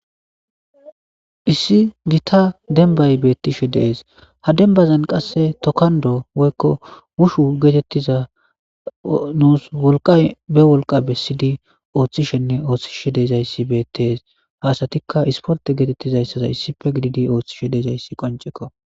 Issi gitta demmban bettishe de'es ha demmbazan qase tokkqnddo woyikko wushu gettetiza nusi wolqqa be wollqa besishe othishenne oththisishe dizzayi bettes hayssatikka issportte gettetizayssa issippe gididdi oththishe dizayi qonccekko